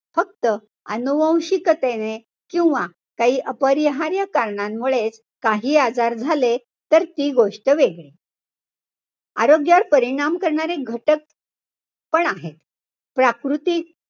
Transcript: फक्त अनुवंशिकतेने किंवा काही अपरिहार्य कारणांमुळेच हे आजार झाले तर ती गोष्ट वेगळी. आरोग्यावर परिणाम करणारे घटक पण आहेत. प्राकृतिक,